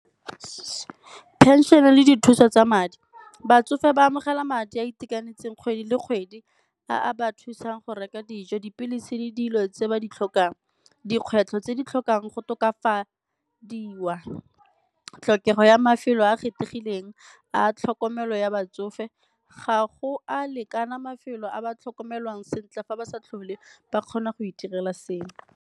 Pension-e le dithuso tsa madi, batsofe ba amogela madi a a itekanetseng kgwedi le kgwedi a ba thusang go reka dijo, dipilisi le dilo tse ba di tlhokang. Dikgwetlho tse di tlhokang go tokafatsa di wa tlhokego ya mafelo a kgethegileng a tlhokomelo ya batsofe, ga go a lekana mafelo a ba tlhokomelwang sentle fa ba sa tlhole ba kgona go itirela selo.